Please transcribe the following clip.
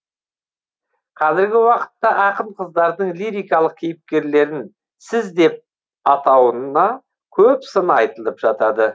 қазіргі уақытта ақын қыздардың лирикалық кейіпкерлерін сіз деп атауына көп сын айтылып жатады